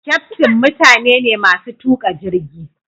kyaftin mutane ne masu tuka jirgi.